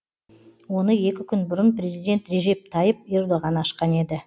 оны екі күн бұрын президент режеп тайып ердоған ашқан еді